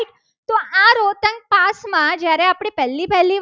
દિવસમાં જ્યારે આપણે પહેલી પહેલી વાર